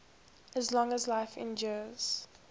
as long as life endures